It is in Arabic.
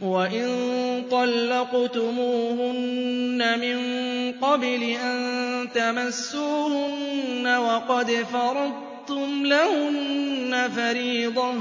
وَإِن طَلَّقْتُمُوهُنَّ مِن قَبْلِ أَن تَمَسُّوهُنَّ وَقَدْ فَرَضْتُمْ لَهُنَّ فَرِيضَةً